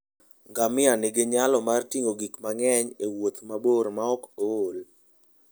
Ngamia nigi nyalo mar ting'o gik mang'eny e wuoth mabor maok ool.